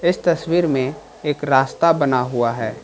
इस तस्वीर में एक रास्ता बना हुआ है।